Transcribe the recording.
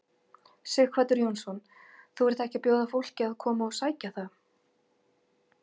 Sighvatur Jónsson: Þú ert ekki að bjóða fólki að koma og sækja það?